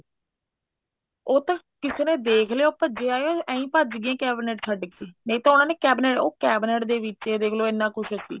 ਉਹ ਤਾਂ ਕਿਸੇ ਨੇ ਦੇਖ ਲਿਆ ਉਹ ਭਜੇ ਆਏ ਇਹੀ ਭੱਜ ਗਏ cabinet ਛੱਡ ਕੇ ਨਹੀਂ ਤਾਂ ਉਹਨਾ ਨੇ cabinet ਉਹ cabinet ਦੇ ਵਿੱਚ ਹੀ ਦੇਖਲੋ ਇੰਨਾ ਕੁੱਛ ਸੀ